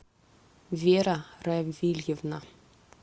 вера равильевна